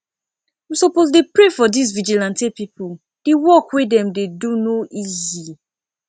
we suppose dey pray for dis vigilante people the work wey dem dey do no easy